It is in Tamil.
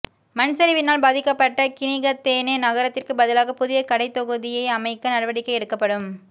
மண்சரிவினால் பாதிக்கபட்ட கினிகத்தேன நகரத்திற்கு பதிலாக புதிய கடைதொகுதி அமைக்க நடிவடிக்கை எடுக்கப்படும்